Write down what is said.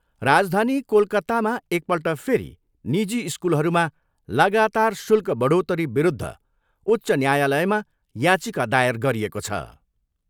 राजधानी कोलकत्तामा एकपल्ट फेरि निजी स्कुलहरूमा लागातार शुल्क बढोत्तरी विरूद्ध उच्च न्यायालयमा याचिका दायर गरिएको छ।